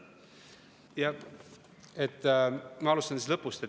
Ma alustan lõpust.